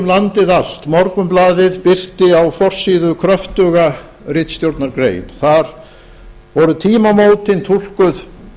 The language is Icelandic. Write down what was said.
landið allt morgunblaðið birti á forsíðu kröftuga ritstjórnargrein þar voru tímamótin túlkuð